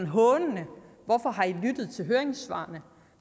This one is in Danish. hånende hvorfor har i lyttet til høringssvarene